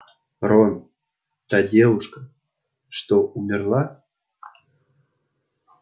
рон та девушка что умерла